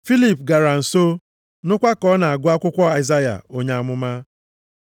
Filip gara nso, nụkwa ka ọ na-agụ akwụkwọ Aịzaya onye amụma. Ọ sịrị, “Ị na-aghọta ihe ị na-agụ?”